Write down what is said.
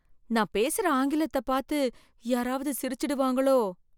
நான் பேசுற ஆங்கிலத்தை பார்த்து யாராவது சிரிச்சிடுவாங்களோ.